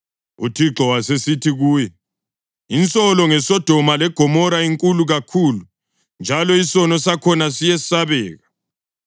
UThixo wasesithi kuye, “Insolo ngeSodoma leGomora inkulu kakhulu njalo isono sakhona siyesabeka